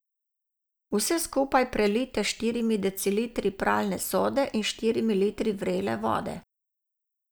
Vse skupaj prelijte s štirimi decilitri pralne sode in štirimi litri vrele vode.